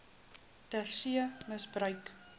ter see misbruik